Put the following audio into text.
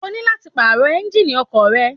O ní láti pààrọ̀ Ẹ́ńjíìnì ọkọ̀ rẹ